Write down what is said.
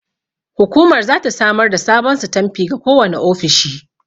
Hukumar zata samar da sabon sitanfi ga kowane ofishi.